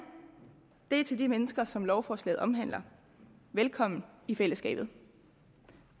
er til de mennesker som lovforslaget omhandler velkommen i fællesskabet